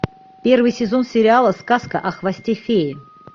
первый сезон сериала сказка о хвосте феи